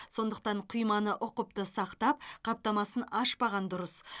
сондықтан құйманы ұқыпты сақтап қаптамасын ашпаған дұрыс